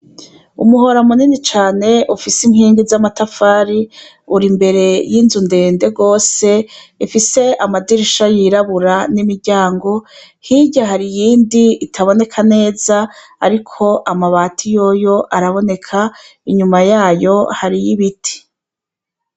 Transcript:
Umuhora munini cane ufise inkigi zamatafari uri imbere zinyu ndende gose ifise amadirisha yirabura nimiryango hirya hari iyindi itaboneka neza ariko amabati yoyo araboneka inyuma yayo hariho ibiti